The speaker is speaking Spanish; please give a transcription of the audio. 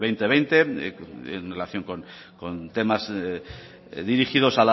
dos mil veinte en relación con temas dirigidos